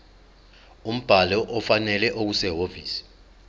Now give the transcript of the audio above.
umbhalo ofanele okusehhovisi